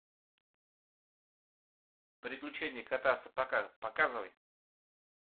приключения кота в сапогах показывай